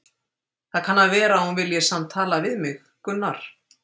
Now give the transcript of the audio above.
Það kann að vera að hún vilji samt tala við mig, Gunnar